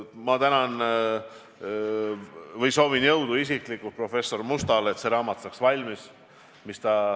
Ma tänan professor Musta ja soovin talle jõudu, et see raamat saaks valmis.